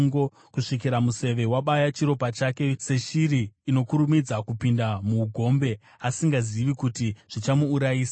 kusvikira museve wabaya chiropa chake, seshiri inokurumidza kupinda muugombe, asingazivi kuti zvichamuurayisa.